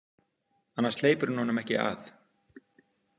Annars hleypir hún honum ekki að.